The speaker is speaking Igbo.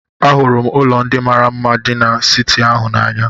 Ahụrụ m ụlọ ndị mara mma dị n'siti ahụ n'anya.